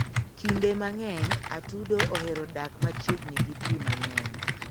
Kinde mang'eny, atudo ohero dak machiegni gi pi mang`eny.